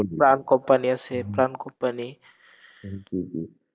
প্রাণ company আসে, Pran company